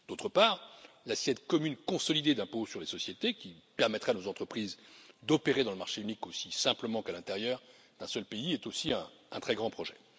et d'autre part, l'assiette commune consolidée d'impôt sur les sociétés, qui permettrait à des entreprises d'opérer dans le marché unique aussi simplement qu'à l'intérieur d'un seul pays, est aussi un très grand projet.